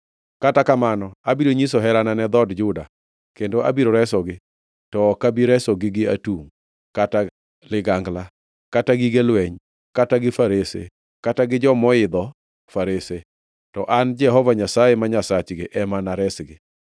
Kata kamano, abiro nyiso herana ne dhood Juda kendo abiro resogi to ok abi resogi gi atungʼ, kata ligangla kata gige lweny kata gi farese kata gi jomoidho farese, to an Jehova Nyasaye ma Nyasachgi ema anaresgi.”